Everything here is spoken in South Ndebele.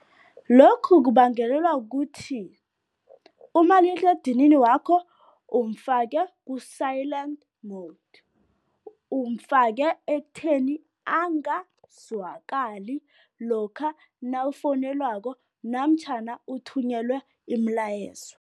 Lokhu kubangelelwa kuthi umaliledinini wakho umfake ku-silent mode, umfake ekutheni angazwakali lokha nawufowunelwako namtjhana uthunyelwe imilayezo.